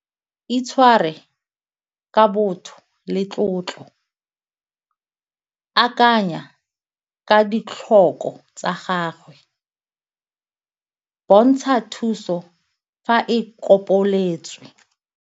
Itshware ka botho le tlotlo, akanya ka ditlhoko tsa gagwe, bontsha thuso fa e .